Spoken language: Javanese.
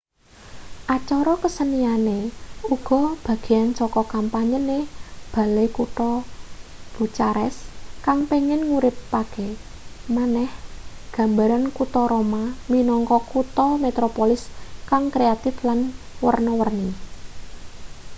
acara keseniane uga bagean saka kampanyene balai kutha bucharest kang pengin nguripake maneh gambaran kuta roma minangka kutha metropolis kang kreatif lan werna-werni